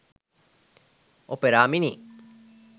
opera mini